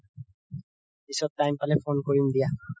পিছত time পালে phone কৰিম দিয়া